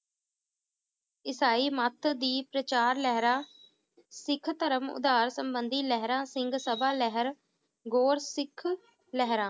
ਈਸਾਈ ਮਾਤਰ ਦੀ ਪ੍ਰਚਾਰ ਲਹਿਰਾਂ, ਸਿੱਖ ਧਰਮ ਉਦਾਰ ਸੰਬੰਧੀ ਲਹਿਰਾਂ, ਸਿੰਘ ਸਭਾ ਲਹਿਰ, ਗੋਰ ਸਿੱਖ ਲਹਿਰਾਂ